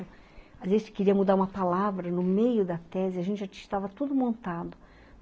Às vezes você queria mudar uma palavra no meio da tese, a gente já tinha tudo montado.